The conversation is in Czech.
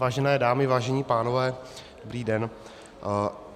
Vážené dámy, vážení pánové, dobrý den.